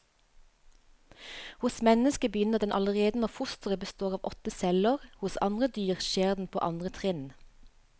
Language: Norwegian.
Hos mennesket begynner den allerede når fosteret består av åtte celler, hos andre dyr skjer den på andre trinn.